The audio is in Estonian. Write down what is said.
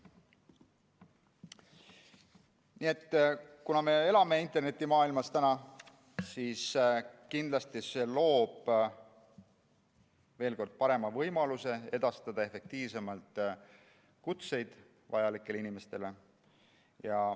Kuna me elame internetimaailmas, siis kindlasti see muudatus loob, veel kord, parema võimaluse edastada efektiivsemalt kutseid vajalikele inimestele.